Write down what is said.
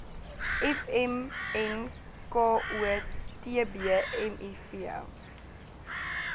vmnko tb miv